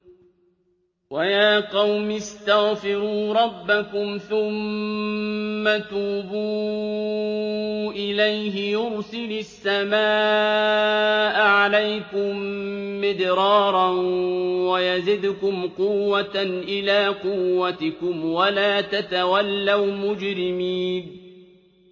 وَيَا قَوْمِ اسْتَغْفِرُوا رَبَّكُمْ ثُمَّ تُوبُوا إِلَيْهِ يُرْسِلِ السَّمَاءَ عَلَيْكُم مِّدْرَارًا وَيَزِدْكُمْ قُوَّةً إِلَىٰ قُوَّتِكُمْ وَلَا تَتَوَلَّوْا مُجْرِمِينَ